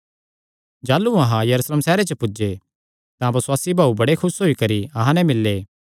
जाह़लू अहां यरूशलेम सैहरे च पुज्जे तां बसुआसी भाऊ बड़े खुस होई करी अहां नैं मिल्ले